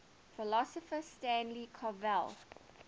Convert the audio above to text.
philosopher stanley cavell